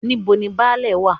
Níbo ni Baálẹ̀ wá?